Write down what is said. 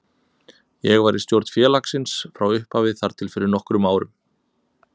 Ég var í stjórn félagsins frá upphafi þar til fyrir nokkrum árum.